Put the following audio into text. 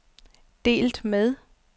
delt med